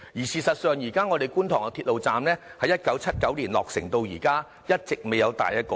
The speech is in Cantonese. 事實上，觀塘鐵路站在1979年落成至今，一直未有大的改動。